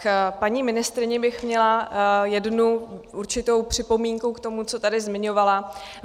K paní ministryni bych měla jednu určitou připomínku k tomu, co tady zmiňovala.